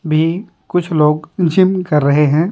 भी कुछ लोग जिम कर रहे हैं।